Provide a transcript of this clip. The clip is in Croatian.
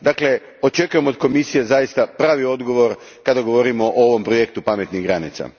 Dakle, očekujem od Komisije zaista pravi odgovor kada govorimo o ovom projektu pametnih granica.